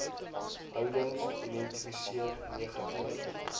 houdings identifiseer negatiewe